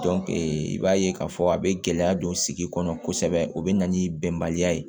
i b'a ye k'a fɔ a bɛ gɛlɛya don sigi kɔnɔ kosɛbɛ o bɛ na ni bɛnbaliya ye